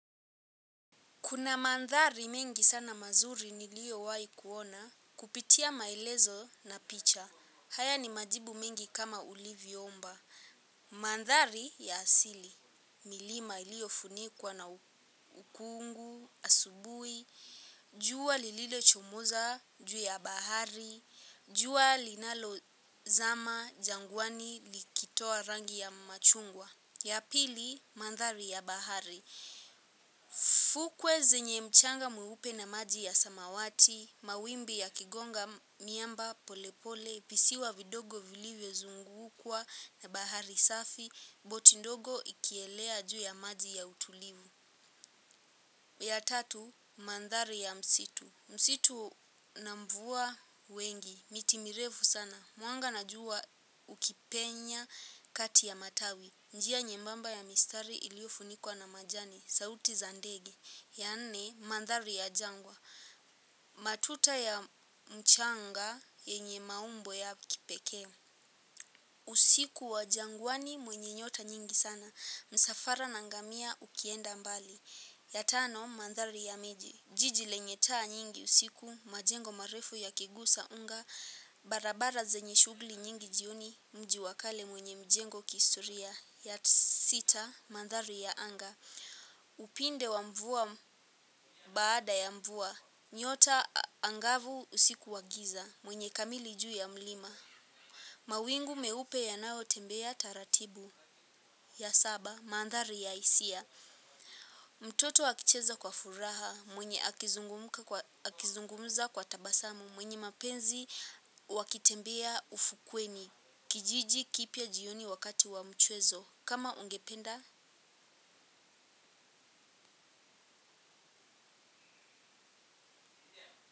Kuna mandhari mingi sana mazuri niliyo wahi kuona kupitia maelezo na picha. Haya ni majibu mingi kama ulivyoomba. Mandhari ya asili. Milima iliyo funikuwa na ukungu, asubuhi. Jua lililochomoza, juu ya bahari. Jua linalozama, jangwani, likitoa rangi ya machungwa. Ya pili, mandhari ya bahari. Fukwe zenye mchanga mweupe na maji ya samawati. Mawimbi yakigonga miamba pole pole visiwa vidogo vilivyozungukwa na bahari safi. Boti ndogo ikielea juu ya maji ya utulivu. Ya tatu, mandhari ya msitu. Msitu na mvua wengi, miti mirefu sana. Mwanga na jua ukipenya kati ya matawi. Njia nyembamba ya mistari iliyofunikwa na majani. Sauti za ndege, ya ne, mandhari ya jangwa. Matuta ya mchanga, yenye maumbo ya kipekee. Usiku wa jangwani mwenye nyota nyingi sana. Msafara na ngamia ukienda mbali. Ya tano, mandhari ya miji. Jiji lenye taa nyingi usiku, majengo marefu yakigusa unga. Barabara zenye shugli nyingi jioni, mji wa kale mwenye mjengo kihistoria. Ya sita, mandhari ya anga. Upinde wa mvua baada ya mvua. Nyota angavu usiku wa giza mwenye kamili juu ya mlima. Mawingu meupe yanayotembea taratibu ya saba mandhari ya hisia. Mtoto akicheza kwa furaha mwenye akizungumza kwa tabasamu mwenye mapenzi wakitembea ufukweni. Kijiji kipya jioni wakati wa mchwezo kama ungependa.